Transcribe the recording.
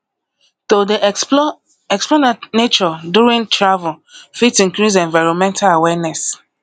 to dey explore explore nature during travel fit increase environmental awareness